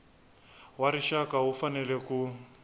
wa rixaka wu fanele ku